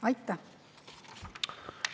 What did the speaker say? Aitäh!